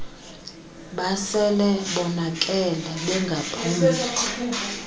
basele bonakele bengabaphuli